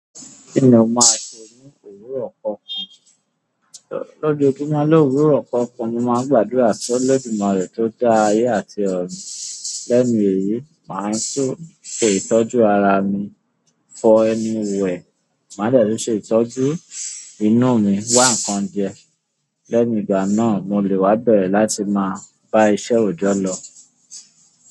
Kí ni o máa se ní òwúrọ̀ kọ̀ọ̀kan? Lójojumo lóòwúrọ̀ kọ̀ọ̀kan, mo máa ń gbàdúrà sọ lódìumare tó dá ayé àti ọ̀run. Lẹ́nu èyí, màá tún ṣe ìtọ́jú ara mi fo ẹnu wẹ̀. Màá de tun ṣe ìtọ́jú inú mi wáǹkan jẹ. Lẹ́nu ìgbà náà, mo lè wá bẹ̀rẹ̀ láti máa bá iṣẹ́ òjọ́ lọ.